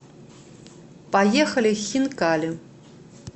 поехали хинкали